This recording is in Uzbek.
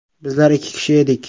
Bizlar ikki kishi edik.